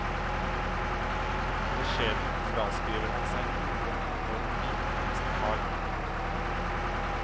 Beskjedent fraskriver han seg noen enorm viten om sitt fag.